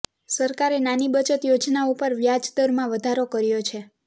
સરકારે નાની બચત યોજનાઓ પર વ્યાજદરમાં વધારો કર્યો છે